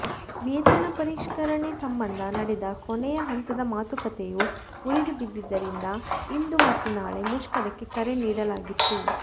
ವೇತನ ಪರಿಷ್ಕರಣೆ ಸಂಬಂಧ ನಡೆದ ಕೊನೆಯ ಹಂತದ ಮಾತುಕತೆಯೂ ಮುರಿದು ಬಿದ್ದಿದ್ದರಿಂದ ಇಂದು ಮತ್ತು ನಾಳೆ ಮುಷ್ಕರಕ್ಕೆ ಕರೆ ನೀಡಲಾಗಿತ್ತು